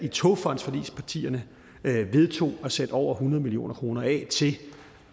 togfondsforligspartierne vedtog at sætte over hundrede million kroner af til